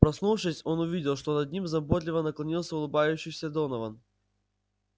проснувшись он увидел что над ним заботливо наклонился улыбающийся донован